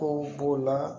Kow b'o la